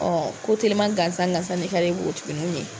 ko telima gansan gansan de ka di npogotiginniw ye